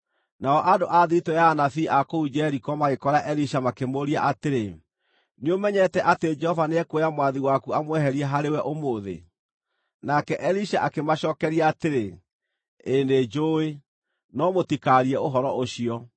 Nao andũ a thiritũ ya anabii a kũu Jeriko magĩkora Elisha makĩmũũria atĩrĩ, “Nĩũmenyete atĩ Jehova nĩekuoya mwathi waku amweherie harĩwe ũmũthĩ?” Nake Elisha akĩmacookeria atĩrĩ, “Ĩĩ nĩnjũũĩ, no mũtikaarie ũhoro ũcio.”